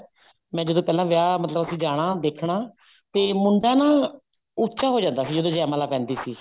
ਮੈਂ ਜਦੋਂ ਪਹਿਲਾ ਵਿਆਹ ਮਤਲਬ ਅਸੀਂ ਜਾਣਾ ਦੇਖਣਾ ਤੇ ਮੁੰਡਾ ਨਾ ਉੱਚਾ ਹੋ ਜਾਂਦਾ ਸੀ ਜਦੋਂ ਜੈ ਮਾਲਾ ਪੈਂਦੀ ਸੀ